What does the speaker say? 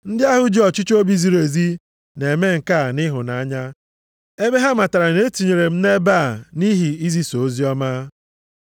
Ndị ahụ ji ọchịchọ obi ziri ezi na-eme nke a nʼịhụnanya ebe ha matara na e tinyere m ebe a nʼihi izisa oziọma.